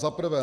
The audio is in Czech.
Za prvé.